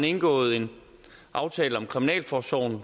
indgået en aftale om kriminalforsorgen